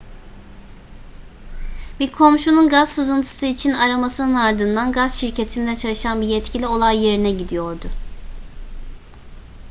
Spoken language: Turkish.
bir komşunun gaz sızıntısı için aramasının ardından gaz şirketinde çalışan bir yetkili olay yerine gidiyordu